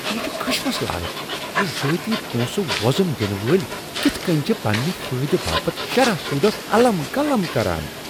یہ چھُ خشمس لایق زِ ذٲتی پونسہٕ وو٘زُم دِنہٕ وٲلۍ كِتھہٕ كٕنۍ چھِ پننہِ فٲیدٕ باپت شرح سوٗدس الم گلم كران ۔